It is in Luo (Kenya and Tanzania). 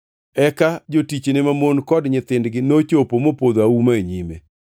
Eka jotichne mamon kod nyithindgi nochopo mopodho auma e nyime.